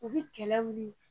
O bɛ kɛlɛ wili